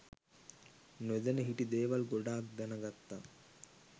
නොදැන හිටි දේවල් ගොඩක් දැනගත්තා